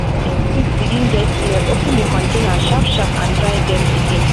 if seed begin get smell open the container sharp-sharp and dry dem again.